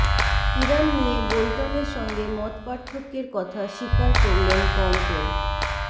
Iran নিয়ে বোল্টনের সঙ্গে মতপার্থক্যের কথা স্বীকার করলেন পম্পেও